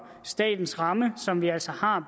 statens ramme som vi altså har